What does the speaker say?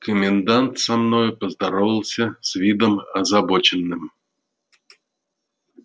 комендант со мною поздоровался с видом озабоченным